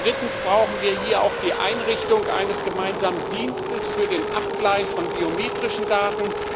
Drittens brauchen wir hier auch die Einrichtung eines gemeinsamen Dienstes für den Abgleich von biometrischen Daten.